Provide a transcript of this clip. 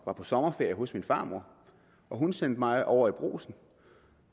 var på sommerferie hos min farmor og hun sendte mig over i brugsen